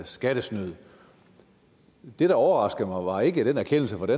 skattesnyd det der overraskede mig var ikke den erkendelse for det